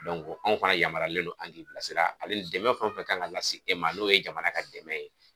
anw fana yamaruyalen no an k'i bila sira ale ni dɛmɛ fɛn o fɛn kan ka lase e ma n'o ye jamana ka dɛmɛ ye.